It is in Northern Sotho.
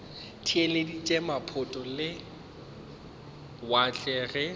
theeleditše maphoto a lewatle ge